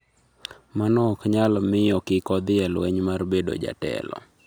Mano ok nyal miyo kik odhi e lweny mar bedo jatelo.